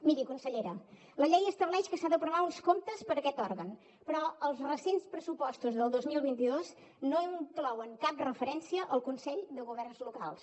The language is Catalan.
miri consellera la llei estableix que s’han d’aprovar uns comptes per a aquest òrgan però els recents pressupostos del dos mil vint dos no inclouen cap referència al consell de governs locals